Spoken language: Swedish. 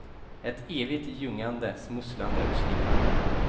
Ett evigt ljugande, smusslande och slingrande.